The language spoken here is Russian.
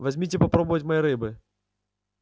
возьмите попробовать моей рыбы